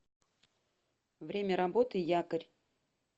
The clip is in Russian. время работы якорь